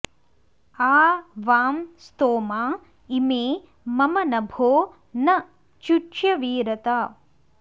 आ वां॒ स्तोमा॑ इ॒मे मम॒ नभो॒ न चु॑च्यवीरत